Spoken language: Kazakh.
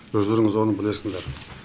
өздеріңіз оны білесіндер